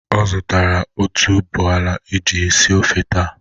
Ọ zutara otuboala e ji esi ofe taa?